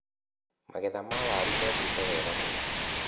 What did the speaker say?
Magetha ma waru mekĩte wega mũno.